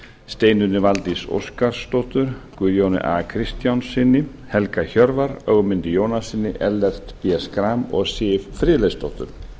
steinunni valdísi óskarsdóttur guðjóni a kristjánssyni helga hjörvar ögmundi jónassyni ellert b schram og siv friðleifsdóttur